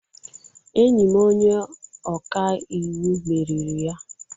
Enyi m onye ọka iwu meriri ya.